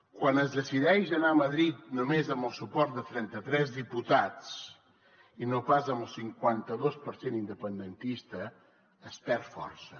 quan es decideix anar a madrid només amb el suport de trenta tres diputats i no pas amb el cinquanta dos per cent independentista es perd força